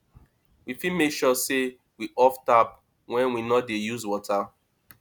we fit make sure sey we off tap when we no dey use water